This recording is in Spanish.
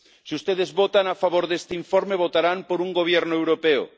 Si ustedes votan a favor de este informe, votarán por un gobierno europeo